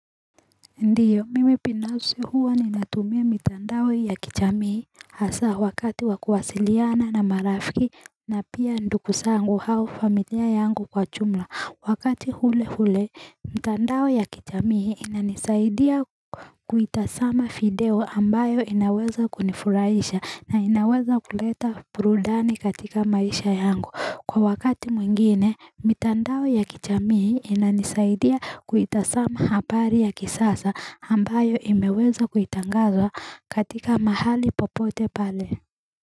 Ndiyo mimi pinafsi huwa ninatumia mitandao ya kichamii hasa wakati wa kuwasiliana na marafiki na pia nduku sangu hau familia yangu kwa chumla wakati hule hule mitandao ya kichamii inanisaidia kuitasama fideo ambayo inaweza kunifurahisha na inaweza kuleta purudani katika maisha yangu kwa wakati mwingine mitandao ya kichamii inanisaidia kuitasama habari ya kisasa ambayo imeweza kuitangazwa katika mahali popote pale.